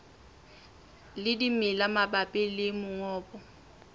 le dimela mabapi le mongobo